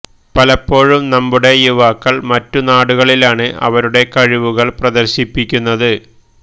പലപ്പോഴും നമ്മുടെ യുവാക്കള് മറ്റ് നാടുകളിലാണ് അവരുടെ കഴിവുകള് പ്രദര്ശിപ്പിക്കുന്നത്